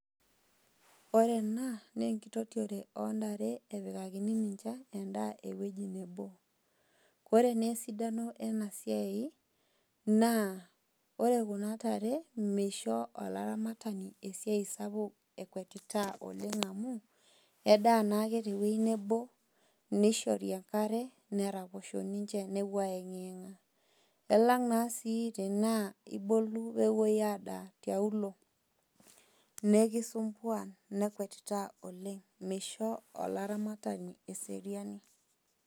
Ore ena naa enkitotiore o ntare epikakini ninche endaa, ewueji nabo. Ore naa esidano ena siai, naa ore kuna tare, meisho olaramatani esiai sapuk, ekwetitaa oleng' amu, edaa naake te ewuei nabo, neishori enare, neraposhou ninche newuo aeng'ieng'a. Elang' naa sii tanaa ibolu peyie ewuo adaa tiaulo, nekisumbuan nekwetitaa oleng' meisho olaramatani eseriani.